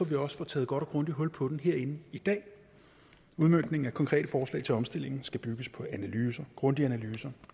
vi også får taget godt og grundigt hul på den herinde i dag udmøntningen af konkrete forslag til omstillingen skal bygges på analyser grundige analyser